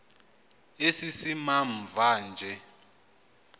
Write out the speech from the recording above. esi simamva nje